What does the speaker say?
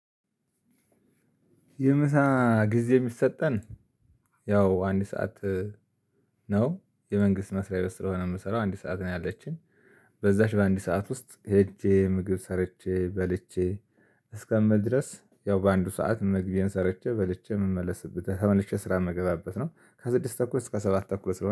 የምሳ ጊዜ የሚሰጠን ያው አንድ ሰዓት። ነው የመንግስት መስሪያ ቤት ስለሆነ የምሰራው አንድ ሰዓት ነው ያለችን። በዛች በአንድ ሰዓት ውስጥ ሄጄ ምግብ ሰርቼ በልቼ እስከምደርስ ያው በአንዱ ሰዓት ምግቤን ሰርቼ በልቼ ምመለስበት ተመልሼ ስራ የምገባበት ነው። ከስድስት ተኩል እስከ ሰባት ተኩል ስለሆነ